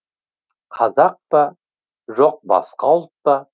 қазақ па жоқ басқа ұлт па